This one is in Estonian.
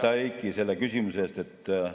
Aitäh, Heiki, selle küsimuse eest!